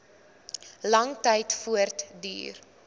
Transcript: lang tyd voortduur